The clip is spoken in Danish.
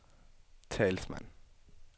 talsmand